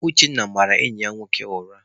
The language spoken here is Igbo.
Uchenna mara enyi ya nwoke ụra.